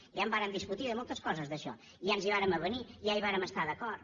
ja en vàrem discutir de moltes coses d’això ja ens hi vàrem avenir ja hi vàrem estar d’acord